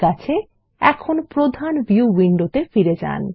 ঠিক আছে এখন প্রধান ভিউ উইন্ডোতে ফিরে যান